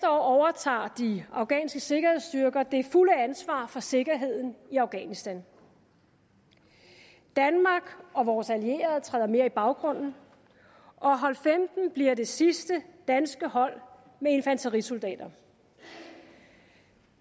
overtager de afghanske sikkerhedsstyrker det fulde ansvar for sikkerheden i afghanistan danmark og vores allierede træder mere i baggrunden og hold femten bliver det sidste danske hold med infanterisoldater